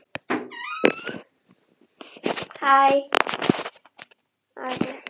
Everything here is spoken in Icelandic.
Allt í einu kom samanvöðlaður miði fljúgandi á borðið hans.